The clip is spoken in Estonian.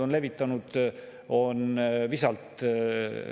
Sellest, et me tõstame nüüd kriisiolukorras käibemaksu 20%-lt 22%-le, on siin väga palju räägitud.